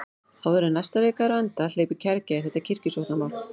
Áður en næsta vika er á enda hleypur kergja í þetta kirkjusóknarmál.